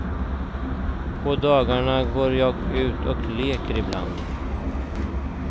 På dagarna går jag ut och leker ibland.